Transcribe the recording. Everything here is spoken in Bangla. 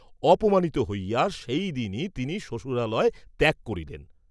অপমানিত হইয়া সেই দিনই তিনি শ্বশুরালয় ত্যাগ করিলেন।